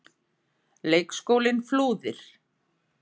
Leikskólinn Flúðir.